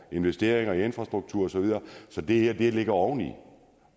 investeringer i infrastruktur og så videre så det her ligger oveni